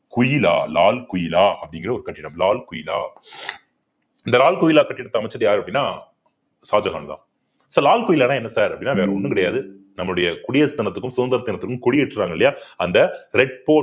கிலா லால் கிலா அப்படிங்கிற ஒரு கட்டிடம் லால் கிலா இந்த லால் கிலா கட்டிடத்தை அமைச்சது யாரு அப்படின்னா ஷாஜஹான்தான் so லால் கிலான்னா என்ன sir அப்படின்னா வேற ஒண்ணும் கிடையாது நம்மடைய குடியரசு தினத்துக்கும் சுதந்திர தினத்துக்கும் கொடி ஏற்றுறாங்க இல்லையா அந்த red port